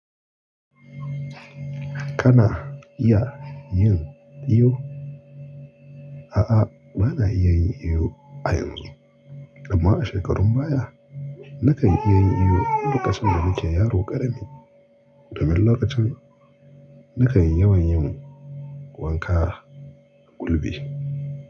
Kana iya yin iyo? A'a, bana iya yin iyo a yanzu, amma a shekarun baya na kan iya yin iyo lokacin da nake yaro ƙarami. Domin lokacin na kan yawan yin wanka a kulbi.